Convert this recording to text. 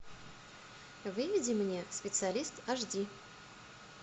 выведи мне специалист аш ди